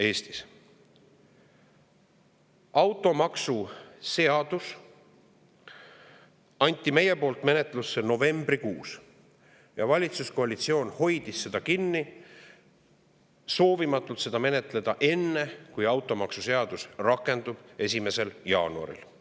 Automaksu seaduse andsime menetlusse novembrikuus ja valitsuskoalitsioon hoidis seda kinni, soovimata seda menetleda enne, kui automaksuseadus 1. jaanuaril rakendub.